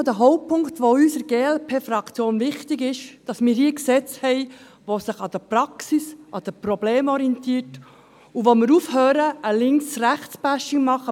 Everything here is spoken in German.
Einer der Hauptpunkte, der uns in der glp-Fraktion wichtig ist: Dass wir hier Gesetze haben, die sich an der Praxis, an den Problemen orientieren, dass wir aufhören, ein Links-rechts-Bashing zu machen.